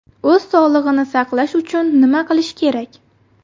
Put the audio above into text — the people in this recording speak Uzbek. O‘z sog‘lig‘ini saqlash uchun nima qilish kerak?